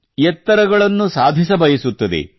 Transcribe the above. ಎತ್ತರಗಳನ್ನು ಸಾಧಿಸಬಯಸುತ್ತದೆ